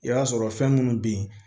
I b'a sɔrɔ fɛn munnu be yen